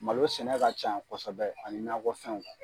Malo sɛnɛ ka canyan kosɛbɛ ani nakɔ fɛnw.